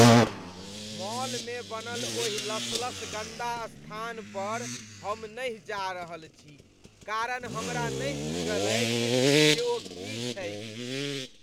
मॉलमे बनल ओहि लसलस गन्दा स्थान पर हम नहि जा रहल छी कारण हमरा नहि बूझल अछि जे ओ की छैक।